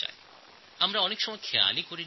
এইগুলো আমরা সাধারণত মনে রাখি না